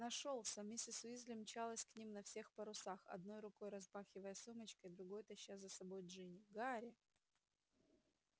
нашёлся миссис уизли мчалась к ним на всех парусах одной рукой размахивая сумочкой другой таща за собой джинни гарри